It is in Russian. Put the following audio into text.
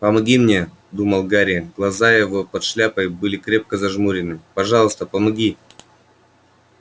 помоги мне думал гарри глаза его под шляпой были крепко зажмурены пожалуйста помоги